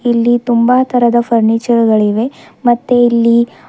ಇಲ್ಲಿ ತುಂಬ ತರದ ಫರ್ನಿಚರ್ ಗಳಿವೆ ಮತ್ತೆ ಇಲ್ಲಿ--